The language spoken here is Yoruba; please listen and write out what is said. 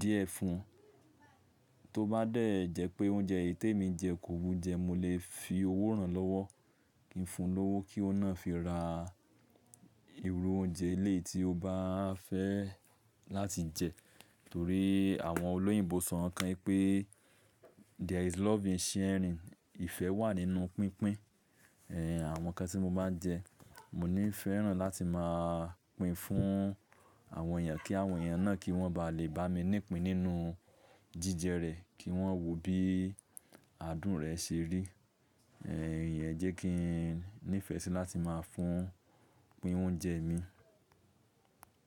díẹ̀ fún un. Tó bá dẹ́ jẹ́ pé oúnjẹ èyí tí èmi jẹ kò wù jẹ, mo lè fi owó rán lọ́wọ́, kí n fun lọ́wọ́ kí óun náà fi ra irú oúnjẹ eleyi tí ó bá fẹ́ láti jẹ. Torí àwọn olóyìnbo sọ nǹkan kan wípé there is love in sharing. Ìfẹ́ wà nínú pínpín. Ẹ̀, àwọn ǹkan tí mo máa njẹ, mo ní fẹ́ràn láti máa pín fún àwọn èèyàn kí àwọn èèyàn náà kí wọ́n ba lè bá mi nípín nínú jíjẹ rẹ̀, kí wọ́n wò bí adùn rẹ̀ ṣe rí. Ẹ̀, ìyẹn jẹ́ kí n ní ìfẹ́ sí láti máa fún, pín oúnjẹ mi.